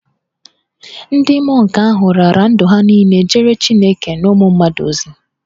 Ndị mọnk ahụ raara ndụ ha niile jeere Chineke na ụmụ mmadụ ozi.